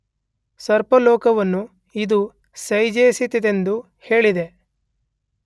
ಸರ್ಪ ಲೋಕವನ್ನು ಇದು ಸೃಜಿಸಿತೆಂದು ಹೇಳಿದೆ.